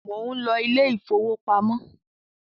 món ló Ilé ìfowópamọ́